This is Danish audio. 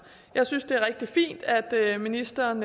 jeg synes det er rigtig fint at ministeren